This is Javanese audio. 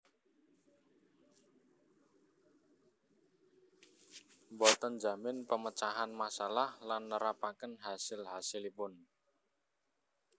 Boten njamin pemecahan masalah lan nerapaken hasil hasilpun